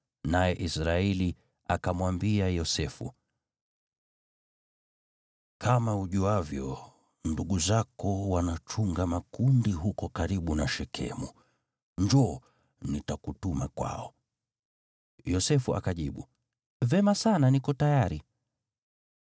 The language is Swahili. naye Israeli akamwambia Yosefu, “Kama ujuavyo, ndugu zako wanachunga makundi huko karibu na Shekemu. Njoo, nitakutuma kwao.” Yosefu akajibu, “Vema sana, niko tayari.”